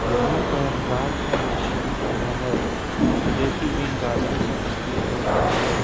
यहां पर रात का दृश्‍य दिख रहा है जोकि एक गार्डन सा प्रतीत हो रहा हैं।